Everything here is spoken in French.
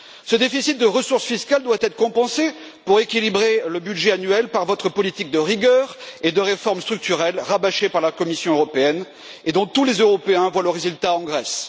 Ce déficit de ressources fiscales doit être compensé pour équilibrer le budget annuel par votre politique de rigueur et de réformes structurelles rabâchée par la Commission européenne, et dont tous les Européens voient le résultat en Grèce.